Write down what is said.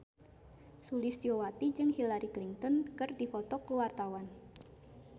Sulistyowati jeung Hillary Clinton keur dipoto ku wartawan